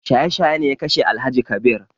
Shaye shaye ne ya kashe Alhaji Kabir